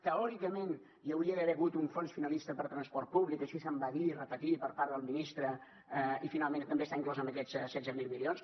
teòricament hi hauria d’haver hagut un fons finalista per transport públic així se’m va dir i repetir per part del ministre i finalment també està inclòs en aquests setze mil milions